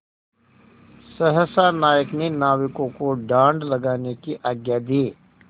सहसा नायक ने नाविकों को डाँड लगाने की आज्ञा दी